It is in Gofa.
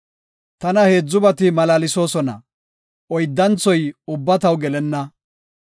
Tana heedzubati malaalsoosona; oyddanthoy ubba taw gelenna.